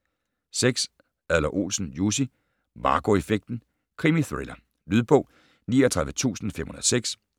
6. Adler-Olsen, Jussi: Marco effekten: krimithriller Lydbog 39506